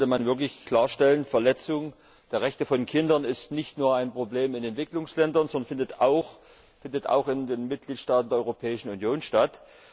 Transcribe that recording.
Erstens sollte man wirklich klarstellen Die Verletzung der Rechte von Kindern ist nicht nur ein Problem in Entwicklungsländern, sondern findet auch in den Mitgliedstaaten der Europäischen Union statt.